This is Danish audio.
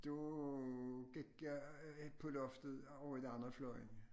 Så gik jeg på loftet over i den anden fløjen